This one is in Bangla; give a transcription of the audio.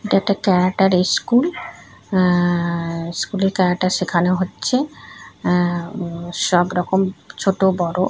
এটা ক্যারাটার ইস্কুল আ্যাাাা ইস্কুল এ ক্যারাটা শেখানো হচ্ছে আ্যাাাা উম সব রকম ছোট বড়--